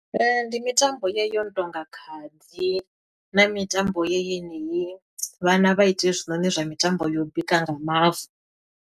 Ndi mitambo yeyi yo no tonga khadi, na mitambo yeyi yeneyi, vhana vha ite hezwinoni zwa mitambo ya u bika nga mavu.